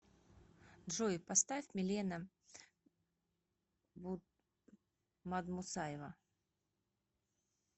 джой поставь милена мадмусаева